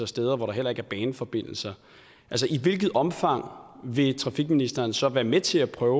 steder hvor der heller ikke er baneforbindelser i hvilket omfang vil transportministeren så være med til at prøve